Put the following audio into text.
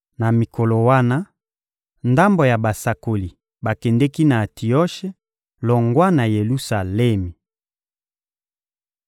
Na mikolo wana, ndambo ya basakoli bakendeki na Antioshe longwa na Yelusalemi.